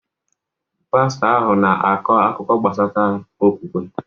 Pastọ ahụ na-akọ akụkọ gbasara okwukwe.